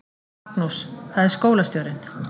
Magnús: Það er skólastjórinn.